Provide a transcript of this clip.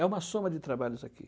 É uma soma de trabalhos aqui.